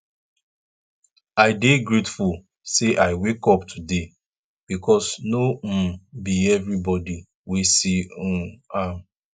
i dey grateful say i wake up today bikos no um bi evribodi wey see um am